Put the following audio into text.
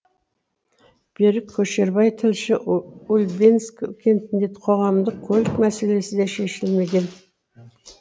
берік көшербай тілші ульбинск кентінде қоғамдық көлік мәселесі де шешілмеген